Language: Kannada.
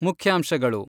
ಮುಖ್ಯಾಂಶಗಳು ,